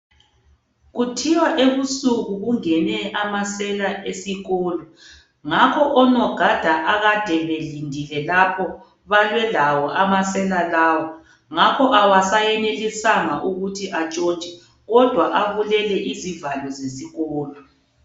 Kuthiwa ekusunku kungene amasela esikolo. Ngakho onogada akade belindile lapho balwe lawo amasela lawa . ngakho kawasayenelisanga ukuthi atshontshe kodwa abulele izivalo zesikolo.